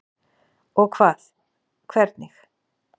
Og hvað. hvernig?